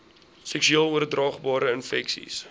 seksueel oordraagbare infeksies